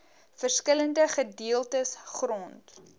verskillende gedeeltes grond